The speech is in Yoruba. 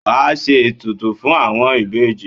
Wa a ṣe ètùtù fún àwọn ìbejì.